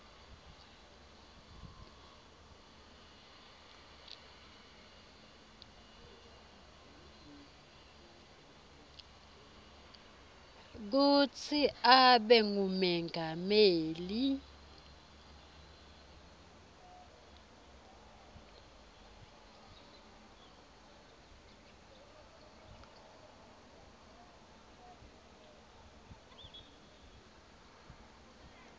kutsi abe ngumengameli